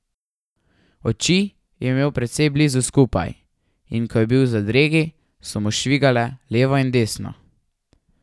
Oči je imel precej blizu skupaj, in ko je bil v zadregi, so mu švigale levo in desno.